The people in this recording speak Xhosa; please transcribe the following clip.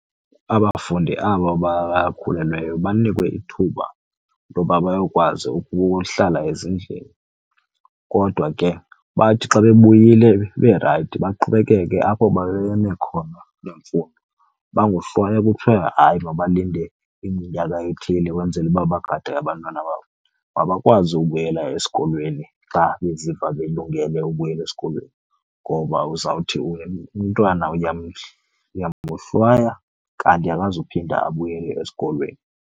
Abafundi aba bakhulelweyo banikwe ithuba loba bayokwazi ukuhlala ezindlini, kodwa ke bathi xa bebuyile berayithi baqhubekeke apho babeme khona nemfundo. Bangohlwaywa kuthwe hayi mabalinde iminyaka ethile kwenzele uba bagade abantwana babo. Mabakwazi ubuyela esikolweni xa beziva belungele ubuyela esikolweni ngoba uzawuthi umntwana uyamohlwaya kanti akazuphinda abuyele esikolweni.